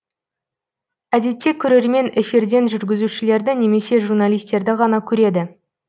әдетте көрермен эфирден жүргізушілерді немесе журналистерді ғана көреді